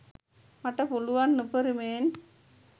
මට පුළුවන් උපරීමයෙන්